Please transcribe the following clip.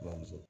Bamuso